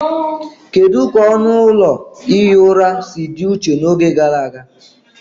Kedu ka ọnụ ụlọ ihi ụra si dị iche n'oge gara aga